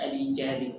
A b'i jaabi